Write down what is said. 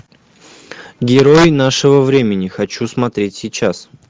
герой нашего времени хочу смотреть сейчас